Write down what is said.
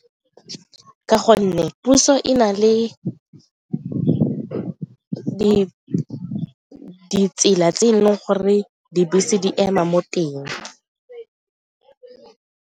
Ka gonne puso e na le ditsela tse e leng gore dibese di ema mo teng.